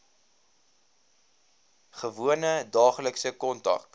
gewone daaglikse kontak